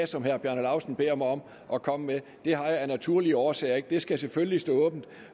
som herre bjarne laustsen beder mig om at komme med det har jeg af naturlige årsager ikke det skal selvfølgelig stå åbent